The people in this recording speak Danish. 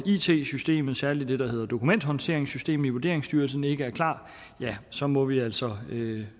it systemet særlig det der hedder dokumenthåndteringssystemet i vurderingsstyrelsen ikke er klart ja så må vi altså